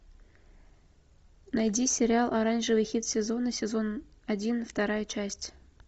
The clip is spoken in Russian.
найди сериал оранжевый хит сезона сезон один вторая часть